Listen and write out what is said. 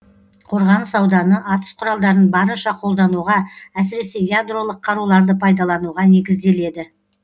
қорғаныс ауданы атыс құралдарын барынша қолдануға әсіресе ядролық қаруларды пайдалануға негізделеді